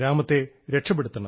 ഗ്രാമത്തെ രക്ഷപ്പെടുത്തണം